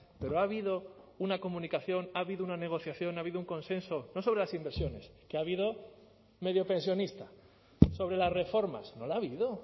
pero ha habido una comunicación ha habido una negociación ha habido un consenso no sobre las inversiones que ha habido mediopensionista sobre las reformas no la ha habido